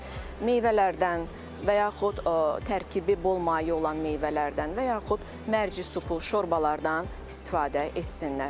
Meyvələrdən və yaxud tərkibi bol maye olan meyvələrdən və yaxud mərci supu, şorbalardan istifadə etsinlər.